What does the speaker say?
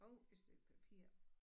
Og et stykke papir